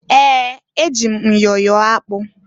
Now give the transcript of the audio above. Ee! Eji m myọ yọọ ọkpa.